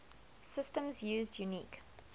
systems used unique